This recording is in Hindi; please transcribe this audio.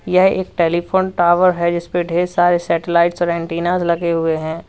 यह एक टेलीफोन टावर है जिसपे ढेर सारे सैटेलाइट्स और एंटीनास लगे हुए हैं।